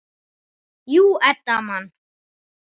Jú, Edda man.